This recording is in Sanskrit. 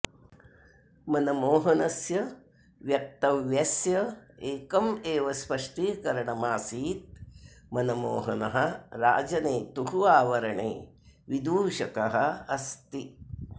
मनमोहनस्य व्यक्तव्यस्य एकम् एव स्पष्टीकरणमसित् मनमोहनः राजनेतुः आवरणे विदूषकः अस्ति